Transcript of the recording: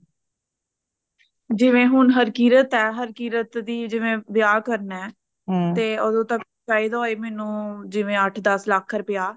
ਜਿਵੇ ਹੁਣ ਹਰਕੀਰਤ ਆ ਹਰਕੀਰਤ ਦੀ ਜਿਵੇ ਵਿਆਹ ਕਰਨਾ ਤੇ, ਤੇ ਓਦੋ ਤੱਕ ਚਾਹੀਦਾ ਹੋਵੇ ਮੈਨੂੰ ਜਿਵੇ ਅੱਠ ਦੱਸ ਲੱਖ ਰੁਪਯਾ